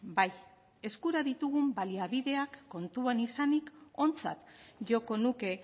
bai eskura ditugun baliabideak kontuan izanik ontzat joko nuke